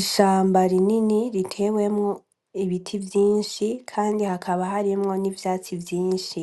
Ishamba rinini ritewemwo ibiti vyinshi kandi hakaba harimwo n'ivyatsi vyinshi